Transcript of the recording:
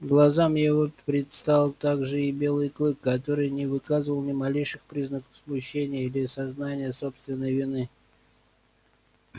глазам его предстал также и белый клык который не выказывал ни малейших признаков смущения или сознания собственной вины